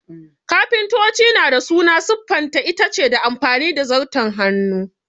Kafintoci na dā suna siffanta itace ta amfani da Zarton Hannu